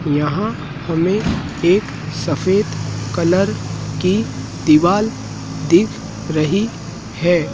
यहां हमें एक सफेद कलर की दीवार दिख रही है।